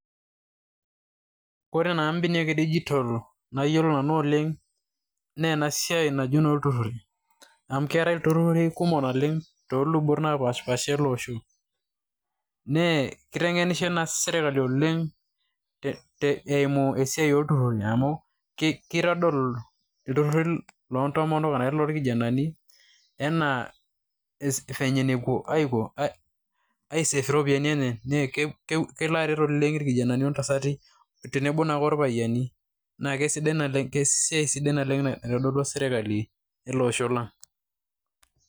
Kore naa imbeniak e digitol nayiolo nanu oleng' naa ena siai naji eno iltururi. Amu keetei ilururi kumok naleng' too lubot napaashipasha ele osho. Nee kiteng'inishe naa sirkali oleng' eimu esiai oltururi amu kitadol iltururi lo ntomok arashu irkijanani enaa venye nepuo aisave iropiani enye. Kelo aret oleng' irkijanani tenebo intasati tenebo naake orpayiani naake esiai sidai oleng' naitodolua sirkali ele osho lang'.